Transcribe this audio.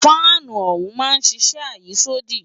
Fáànù ọ̀hún máa ń ṣiṣẹ́ àyísódì